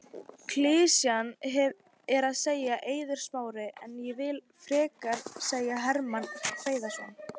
Klisjan er að segja Eiður Smári en ég vill frekar segja Hermann Hreiðarsson.